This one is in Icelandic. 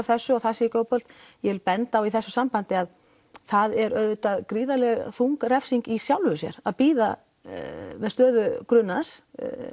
þessu og það sé ekki boðlegt ég vil benda á í þessu sambandi að það er auðvitað gríðarlega þung refsing í sjálfu sér að bíða með stöðu grunaðs